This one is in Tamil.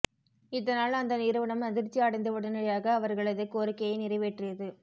இதனால் அந்த நிறுவனம் அதிர்ச்சி அடைந்து உடனடியாக அவர்களது கோரிக்கையை நிறைவேற்றியது